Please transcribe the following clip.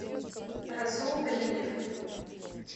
расул гринев